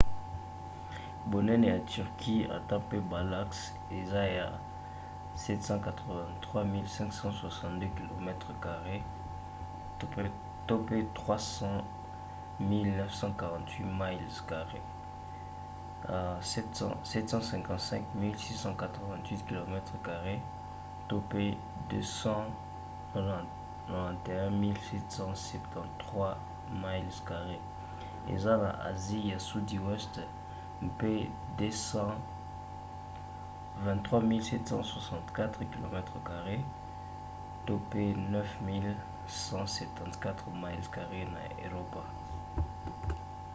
bonene ya turquie ata mpe balacs ezali 783 562 kilomètres carrés 300 948 miles carrés; 755 688 kilomètres carrés 291 773 miles carrés eza na asie ya sudi weste mpe 23 764 kilomètres carrés 9174 miles carrés na eropa